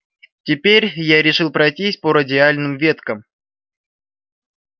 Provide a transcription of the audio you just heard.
теперь я решил пройтись по радиальным веткам